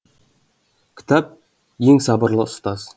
кітап ең сабырлы ұстаз